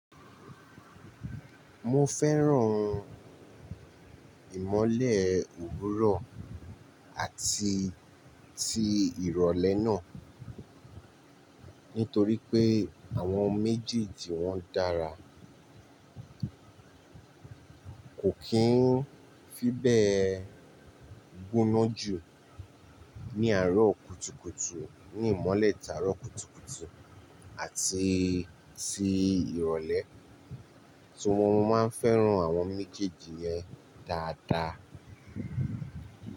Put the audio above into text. Mo fẹ́ran ìmọ́lẹ̀ òwúrọ̀ àti ti ìrọ̀lẹ́ náà, nítorí pé àwọn méjèèjì wọn dára. Kò kí n fi bẹ́ẹ̀ gbóná jù ní àárọ̀ kùtùkùtù ní ìmọ́lẹ̀ tàárọ̀ kùtùkùtù àti ti ìrọ̀lẹ́. So mo máa ń fẹ́ran àwọn méjèèjì yẹn dáadáa.